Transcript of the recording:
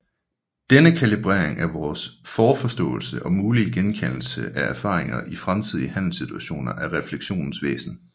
Denne kalibrering af vores forforståelse og mulige genkaldelse af erfaringer i fremtidige handlesituationer er refleksionens væsen